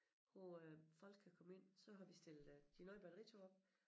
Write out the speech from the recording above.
Hvor øh folk kan komme ind så har vi stillet øh de nye batteritog op